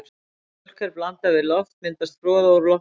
Þegar mjólk er blandað við loft myndast froða úr loftbólum.